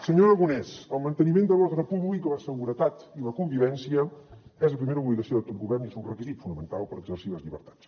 senyor aragonès el manteniment de l’ordre públic la seguretat i la convivència és la primera obligació de tot govern i és un requisit fonamental per exercir les llibertats